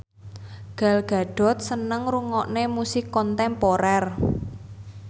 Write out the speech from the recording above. Gal Gadot seneng ngrungokne musik kontemporer